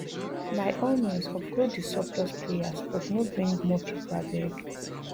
by all means offload di surplus players but no bring more pipo abeg